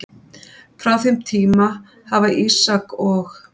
Frá þeim tíma hafa Ísak og